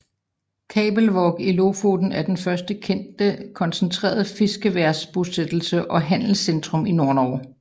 Kabelvåg i Lofoten er den første kendte koncentrerede fiskeværbosættelse og handelscentrum i Nordnorge